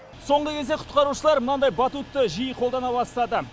соңғы кезде құтқарушылар мынандай батутты жиі қолдана бастады